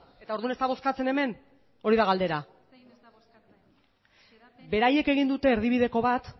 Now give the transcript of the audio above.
eta ordun ez da bozkatzen hemen hori da galdera beraiek egin dute erdibideko bat